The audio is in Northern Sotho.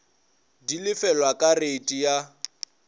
di lefelwa ka reiti ya